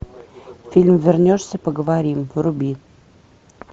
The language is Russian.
фильм вернешься поговорим вруби